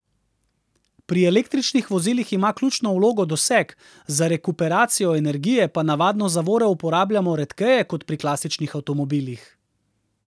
Pri električnih vozilih ima ključno vlogo doseg, za rekuperacijo energije pa navadno zavore uporabljamo redkeje kot pri klasičnih avtomobilih.